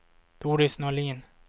Doris Norlin